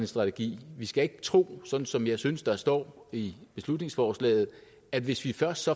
strategi vi skal ikke tro sådan som jeg synes at der står i beslutningsforslaget at hvis vi først